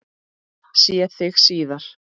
Sé þig síðar.